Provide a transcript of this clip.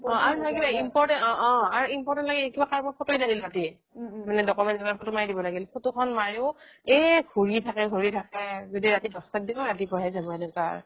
আৰু নহয় কিবা important অহ অহ আৰু important লাগে কাৰোবাৰ photo এ লাগিল ৰাতি document photo মাৰি দিব লাগিল photo খ্ন মাৰিও এহ ঘুৰি থাকে ঘুৰি থাকে যদি ৰাতি দহ টাত দিও ৰাতি পুৱাহে যাব এনেকুৱা